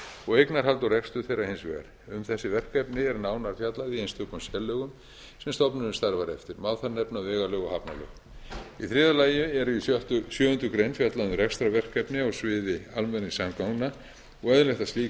og eignarhald og rekstur þeirra hins vegar um þessi verkefni er nánar fjallað í einstökum sérlögum sem stofnunin starfar eftir má þar nefna vegalög og hafnalög í þriðja lagi eru í sjöundu greinar fjallað um rekstrarverkefni á sviði almenningssamgangna og eðlilegt að slík